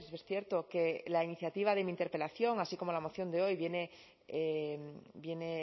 que es cierto que la iniciativa de mi interpelación así como la moción de hoy viene